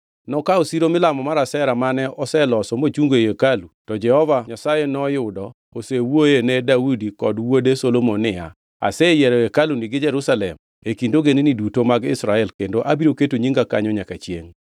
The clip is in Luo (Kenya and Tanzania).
Nokawo siro milamo mar Ashera mane oseloso mochungo ei hekalu, to Jehova Nyasaye noyudo osewuoyoe ne Daudi kod wuode Solomon niya, “Aseyiero hekaluni gi Jerusalem e kind ogendini duto mag Israel kendo, abiro keto nyinga kanyo nyaka chiengʼ.